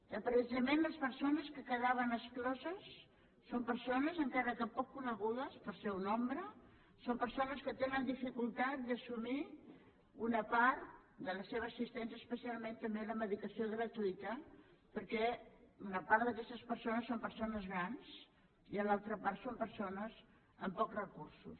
que precisament les persones que en quedaven excloses són persones encara que poc conegudes pel seu nombre que tenen dificultat d’assumir una part de la seva assistència especialment també la medicació gratuïta perquè una part d’aquestes persones són persones grans i l’altra part són persones amb pocs recursos